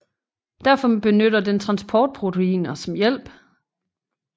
Derfor benytter den transportproteiner som hjælp